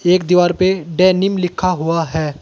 एक दीवार पे डेनिम लिखा हुआ है।